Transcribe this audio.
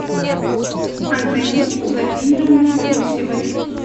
антониной владимировной гусевой